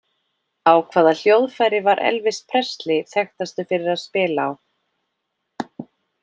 Á hvaða hljóðfæri var Elvis Presley þekktastur fyrir að spila á?